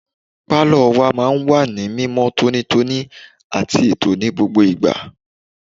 Pálọ̀ wa máa ń wà ní mímọ́ tónítóní àti ètò ní gbogbo ìgbà.